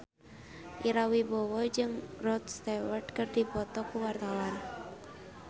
Ira Wibowo jeung Rod Stewart keur dipoto ku wartawan